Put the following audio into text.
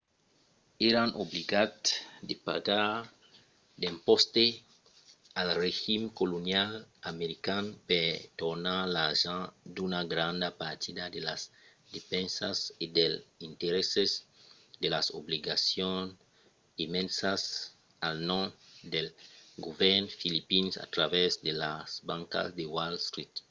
èran obligats de pagar d'impòstes al regim colonial american per tornar l'argent d'una granda partida de las despensas e dels interèsses de las obligacions emesas al nom del govèrn filipin a travèrs de las bancas de wall street